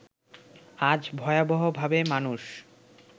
আজ ভয়াবহভাবে মানুষ